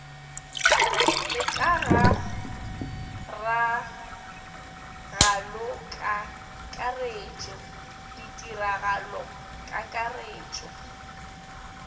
le ka ga ragalokakaretšo ditiragalokakaretšo